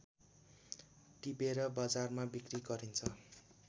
टिपेर बजारमा बिक्री गरिन्छ